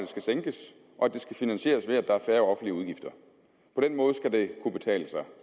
skal sænkes og at det skal finansieres ved at der er færre offentlige udgifter på den måde skal det kunne betale sig